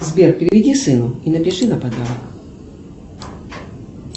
сбер переведи сыну и напиши на подарок